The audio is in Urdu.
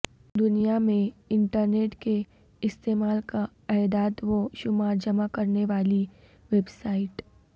دنیا میں انٹرنیٹ کے استعمال کا اعداد و شمار جمع کرنے والی ویب سائٹ